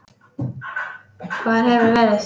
Hvar hefurðu verið?